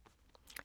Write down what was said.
DR1